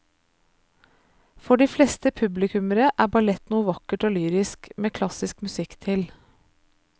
For de fleste publikummere er ballett noe vakkert og lyrisk med klassisk musikk til.